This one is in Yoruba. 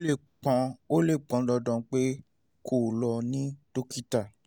ó lè pọn ó lè pọn dandan pé kó o lọ rí dókítà